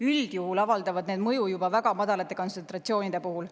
Üldjuhul avaldavad need mõju juba väga madalate kontsentratsioonide puhul.